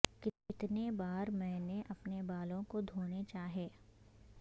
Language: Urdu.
کتنی بار میں نے اپنے بالوں کو دھونے چاہئے